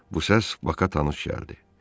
Bu səs Baxa tanış gəldi.